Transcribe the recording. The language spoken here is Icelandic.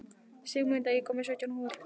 Sigmunda, ég kom með sautján húfur!